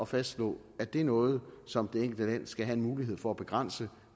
fastslå at det er noget som det enkelte land skal have en mulighed for at begrænse